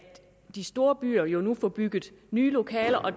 de store byer nu nu får bygget nye lokaler og